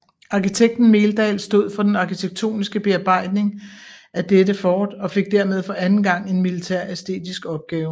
Arkitekten Meldahl stod for den arkitektoniske bearbejdning af dette fort og fik dermed for anden gang en militæræstetisk opgave